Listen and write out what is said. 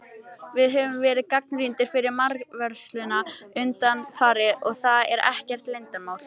Við höfum verið gagnrýndir fyrir markvörsluna undanfarið, og það er ekkert leyndarmál.